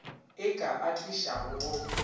e ka a tlišago go